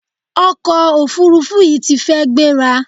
Ọkọ òfurufú yìí ti fi gbéra.